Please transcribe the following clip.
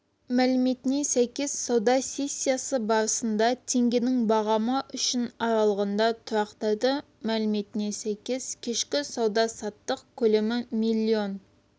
мәліметіне сәйкес сауда сессиясы барысында теңгенің бағамы үшін аралығында тұрақтады мәліметіне сәйкес кешкі сауда-саттық көлемі миллион